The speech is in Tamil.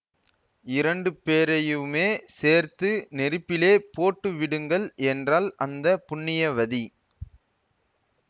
இரண்டு பேரையுமே சேர்த்து நெருப்பிலே போட்டு விடுங்கள் என்றாள் அந்த புண்ணியவதி